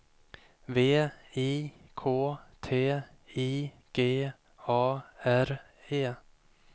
V I K T I G A R E